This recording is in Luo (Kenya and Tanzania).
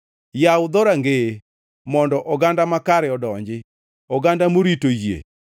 Yaw dhorangeye mondo oganda makare odonji, oganda morito yie.